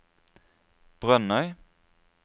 Brønnøy